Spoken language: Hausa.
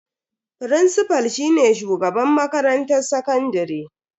Frincifal shine shugaban makarantar sakandare.